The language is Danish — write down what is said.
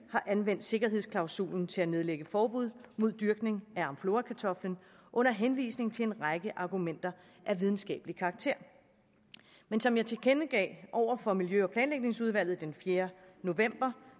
har anvendt sikkerhedsklausulen til at nedlægge forbud mod dyrkning af amflorakartoflen under henvisning til en række argumenter af videnskabelig karakter men som jeg tilkendegav over for miljø og planlægningsudvalget den fjerde november